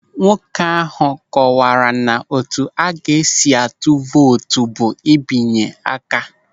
Nwoke ahụ kọwaara na otu a ga-esi atụ vootu bụ ịbịnye aka.